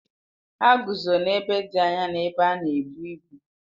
Ha guzo n'ebe dị anya n'ebe a na-ebu ibu